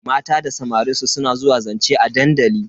Mata da samarin su suna zuwa zance a dandali.